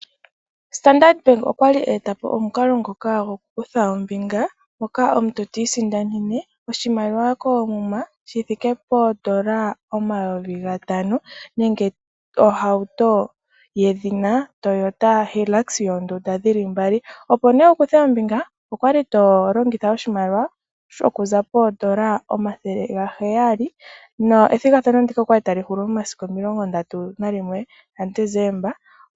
Ombaanga ya Standard okwali a etapo omukalo ngoka goku kutha ombinga moka omuntu ti isindanene oshimaliwa koomuma shithike poondola omayovi gatano . opo nee wukuthe ombinga Koomuna shithike poondola omayovi opo mee wukuthe ombinga methigathano ndika okwali tali Hulu momasiku omilongo mdatu nalilwe ga Deseemba